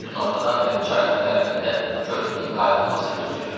Günortadan bəri çayın o tərəfində körpünün qayırlmasını gözləyirdim.